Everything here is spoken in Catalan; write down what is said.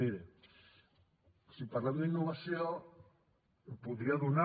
miri si parlem d’innovació podria donar